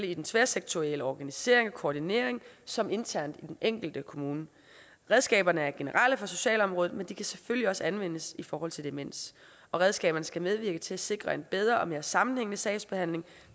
i den tværsektorielle organisering og koordinering så som internt i den enkelte kommune redskaberne er generelle for socialområdet men de kan selvfølgelig også anvendes i forhold til demens redskaberne skal medvirke til at sikre en bedre og mere sammenhængende sagsbehandling